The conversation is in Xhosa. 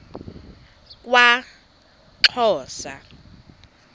kwaxhosa